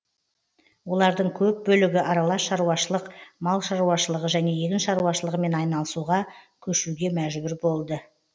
олардың көп бөлігі аралас шаруашылық мал шаруашылығы және егін шаруашылығымен айналысуға көшуге мәжбүр болды